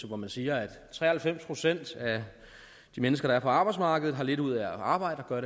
hvor man siger at tre og halvfjerds procent af de mennesker der er på arbejdsmarkedet har lidt ud at arbejde og gør